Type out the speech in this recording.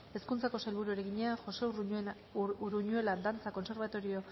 hezkuntzako sailburuari egina josé uruñuela dantza kontserbatorioa